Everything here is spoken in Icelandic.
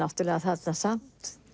þarna samt